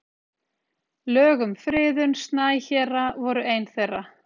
Lög um friðun snæhéra voru ein þeirra.